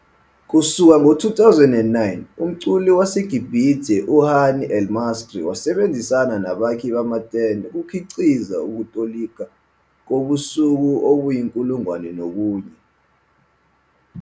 Kusuka ngo-2009, umculi waseGibhithe uHani el-Masri wasebenzisana nabakhi bamatende ukukhiqiza ukutolika kobusuku obuyinkulungwane nobunye.